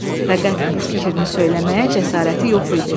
Fəqət bu fikrini söyləməyə cəsarəti yox idi.